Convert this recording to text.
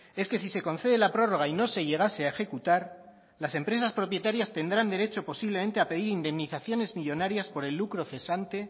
es que si se concede la prórroga y no se llegase a ejecutar las empresas propietarias tendrán derecho posiblemente a pedir indemnizaciones millónarias por el lucro cesante